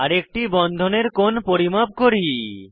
আরেকটি বন্ধনের কোণ পরিমাপ করি